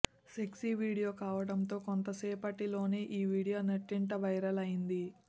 sexy video కావడంతో కొద్దిసేపటి లోనే ఈ వీడియో నెట్టింట వైరల్ అయింది